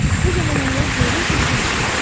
Bu zaman onlar heyrətlə çığırırlar.